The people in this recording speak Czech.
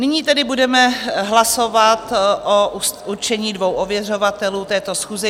Nyní tedy budeme hlasovat o určení dvou ověřovatelů této schůze.